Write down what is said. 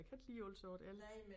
Jeg kan ikke lide at alt sammen er el